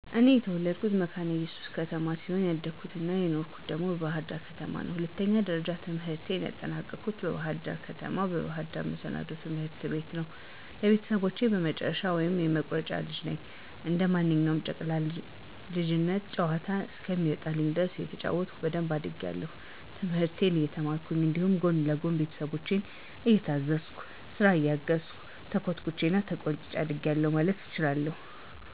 እኔ የተወለድኩት መካነ እየሱስ ከተማ ሲሆን ያደኩት አና የኖርሁት ደግሞ በባህር ዳር ከተማ ነው። ሁለተኛ ደረጃ ትምህርቴንም ያጠናቀኩት በባህር ደር ከተማ፣ በባህር ዳር መሰናዶ ትምህርት ቤት ነው። ለቤተሰቦቸ የመጨረሻ ወይም የመቁረጫ ልጅ ነኝ። እንደ ማንኛውም ጨቅላ የልጅነት ጨዋታ እስከሚወጣልኝ ድረስ እየተጫወትኩኝ በደንብ አድጌአለሁ፤ ትምህርትን እየተማርኩኝ እንዲሁም ጎን ለጎን ቤተሰቦቸን እየታዘዝኩ፥ ስራ እያገዝሁ፣ ተኮትኩቸና ተቆንጥጨ አድጌአለሁ ማለት እችላለሁ።